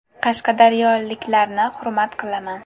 Qashqadaryoliklarni hurmat qilaman.